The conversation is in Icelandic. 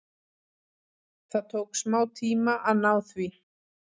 Það tók smá tíma að ná því.